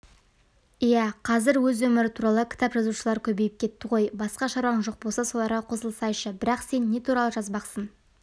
иә қазір өз өмірі туралы кітап жазушылар көбейіп кетті ғой басқа шаруаң жоқ болса соларға қосылсайшы бірақ сен не туралы жазбақсың